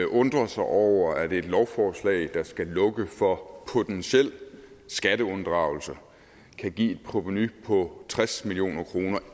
undrer sig over at et lovforslag der skal lukke for potentiel skatteunddragelse kan give et provenu på tres million kroner